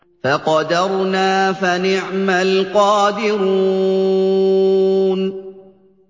فَقَدَرْنَا فَنِعْمَ الْقَادِرُونَ